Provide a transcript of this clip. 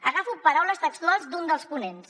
agafo paraules textuals d’un dels ponents